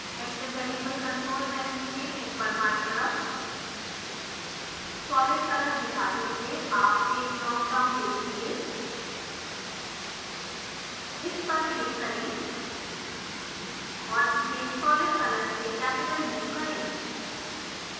active variable control menu में ऊपर बायीं तरफ solid color दिखाते हुए आप एक ड्राप डाउन देखेंगे इस पर क्लिक करें और इसे solid color से कैपिटल u करें